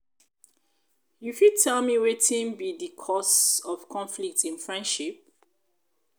you fit tell me wetin be di cause of conflict in friendship?